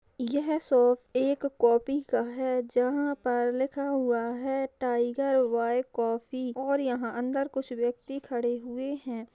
यह शॉप एक कॉफी का है जहा पर लिखा हुआ है टाइगर वे कॉफी और यहाँ अंदर कुछ व्यक्ति खड़े हुए है।